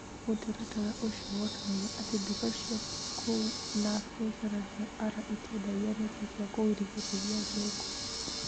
Mũtaratara ũcio wonanirie atĩ nduka cia kũu na biacara cia Arror itiendagia neti cia kũgirĩrĩria nyũngũ.